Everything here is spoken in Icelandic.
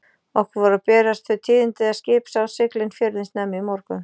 Okkur voru að berast þau tíðindi að skip sáust sigla inn fjörðinn snemma í morgun.